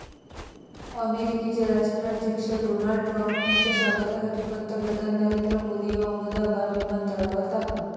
अमेरिकेचे राष्ट्राध्यक्ष Donald Trump यांच्या स्वागतासाठी पंतप्रधान नरेंद्र मोदी अहमदाबाद विमानतळावर दाखल